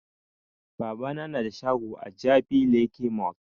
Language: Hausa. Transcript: Babana na da shago a jabi lake mall